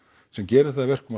sem gerir það að verkum að